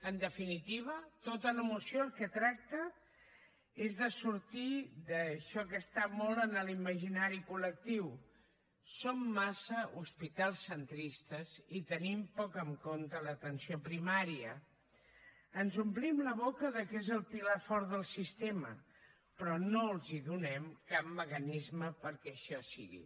en definitiva tota la moció el que tracta és de sortir d’això que està molt en l’imaginari col·lectiu som massa hospitalcentristes i tenim poc en compte l’atenció primària ens omplim la boca que és el pilar fort del sistema però no els donem cap mecanisme perquè això sigui